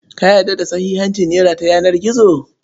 Ka yarda da sahihancin nera ta yanar gizo?